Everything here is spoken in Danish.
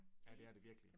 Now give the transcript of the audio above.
Ja det er det virkelig